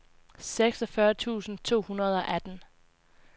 seksogfyrre tusind to hundrede og atten